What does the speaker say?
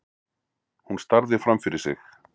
Hún starði framfyrir sig.